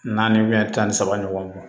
Naani tan ni saba ɲɔgɔn